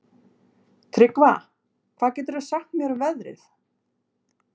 Tryggva, hvað geturðu sagt mér um veðrið?